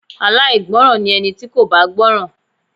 Aláìgbọràn ni ẹni tí kò bá gbọ́ràn.